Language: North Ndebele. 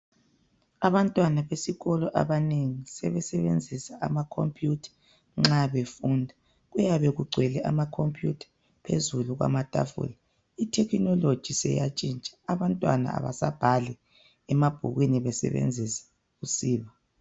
Abantwana besikolo abanengi sebesebenzisa amakhompuyitha nxa befunda kuyabe kugcwele amakhompuyitha phezulu kwamatafula. Ithekhinoloji seyatshintaha abantwana abasabhali emabhukwini besebenzisa usiba.